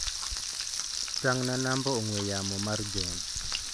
Tang'na namba ong'ue yamo mar John.